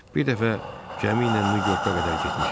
Bir dəfə gəmi ilə Nyu-Yorka qədər getmişəm.